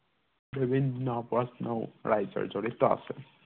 বিভিন্ন প্ৰশ্নও ৰাজ্যৰ জড়িত আছে